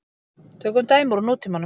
Tökum dæmi úr nútímanum.